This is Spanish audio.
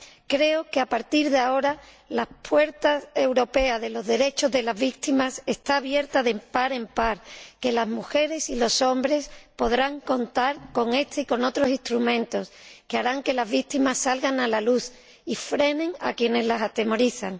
Creo que, a partir de ahora, las puertas europeas de los derechos de las víctimas están abiertas de par en par, que las mujeres y los hombres podrán contar con este y con otros instrumentos que harán que las víctimas salgan a la luz y frenen a quienes las atemorizan.